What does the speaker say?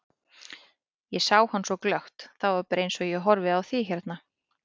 Ég sá hann svo glöggt, það var bara eins og ég horfi á þig hérna.